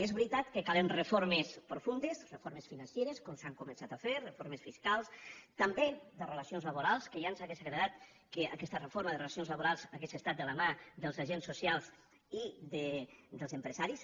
és veritat que calen reformes profundes reformes financeres com s’han començat a fer reformes fiscals també de relacions laborals que ja ens hauria agradat que aquesta reforma de relacions laborals hagués estat de la mà dels agents socials i dels empresaris